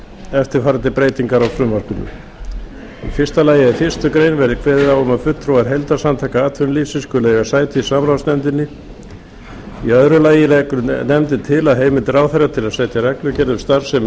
eftirfarandi breytingar á frumvarpinu í fyrsta lagi að í fyrstu grein verði kveðið á um að fulltrúar heildarsamtaka atvinnulífsins á íslandi skuli eiga sæti í samráðsnefndinni í öðru lagi leggur nefndin til að heimild ráðherra til að setja reglugerð um starfsemi